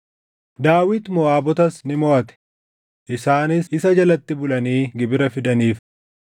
Daawit Moʼaabotas ni moʼate; isaanis isa jalatti bulanii gibira fidaniif.